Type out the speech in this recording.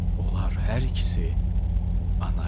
Onlar hər ikisi ana idi.